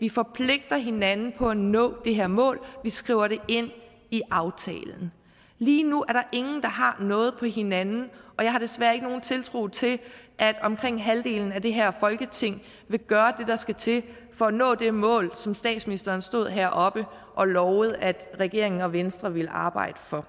vi forpligter hinanden på at nå det her mål vi skriver det ind i aftalen lige nu er der ingen der har noget på hinanden og jeg har desværre ikke nogen tiltro til at omkring halvdelen af det her folketing vil gøre det der skal til for at nå det mål som statsministeren stod heroppe og lovede at regeringen og venstre ville arbejde for